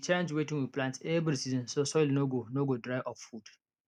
we dey change wetin we plant every season so soil no go no go dry of food